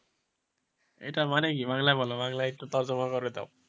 এটার মানে কি বাংলায় বলো বাংলায় একটু করে দাও,